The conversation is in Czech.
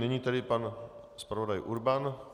Nyní tedy pan zpravodaj Urban.